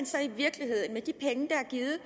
givet